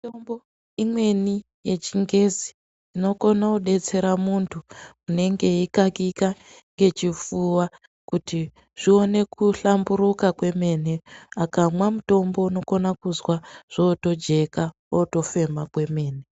Mitombo imweni yechingezi inokone kudetsera munthu unenge eikakika ngechifuwa kuti zvione kuhlamburuka kwemene akamwa mutombo unokona kuzwa zvootojeka wootofema kwemene.